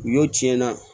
U y'o tiɲɛ na